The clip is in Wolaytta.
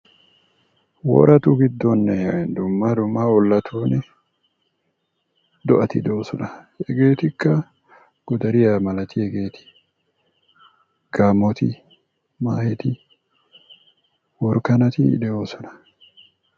Woratu giddooninne dumma dumma ollatu giddon do"ati de"oosona. Hegeetikka godariya malatiyageeti gaammoti, maaheti, worakanati de"oosona.